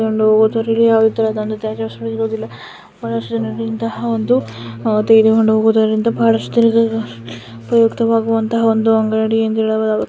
ಬಹಳಷ್ಟು ಉಪಯುಕ್ತವಾಗುವಂತಹ ಅಂಗಡಿ ಅಂತ ಹೇಳಬಹುದು.